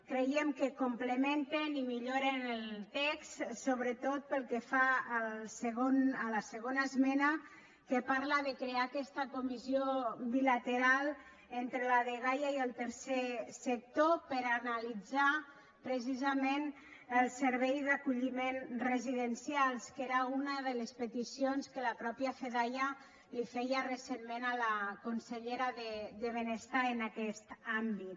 creiem que complementen i milloren el text sobretot pel que fa a la segona esmena que parla de crear aquesta comissió bilateral entre la dgaia i el tercer sector per analitzar precisament el servei d’acolliment residencial que era una de les peticions que la mateixa fedaia li feia recentment a la consellera de benestar en aquest àmbit